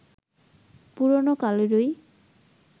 পুরোনো কালেরই